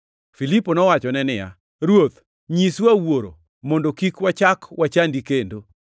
Filipo nowachone niya, “Ruoth, nyiswa Wuoro mondo kik wachak wachandi kendo.”